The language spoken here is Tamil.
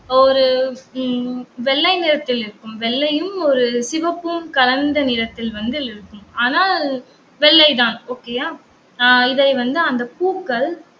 ஒரு உம் வெள்ளை நிறத்தில் இருக்கும். வெள்ளையும் ஒரு சிவப்பும் கலந்த நிறத்தில் வந்து இருக்கும். ஆனால், வெள்ளைதான் okay யா? ஆஹ் இதை வந்து அந்த பூக்கள்